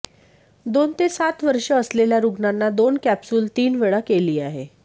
दोन ते सात वर्षे असलेल्या रुग्णांना दोन कॅप्सूल तीन वेळा केली आहे